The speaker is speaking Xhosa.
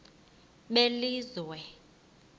belizwe